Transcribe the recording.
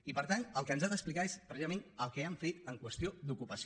i per tant el que ens ha d’explicar és precisament el que han fet en qüestió d’ocupació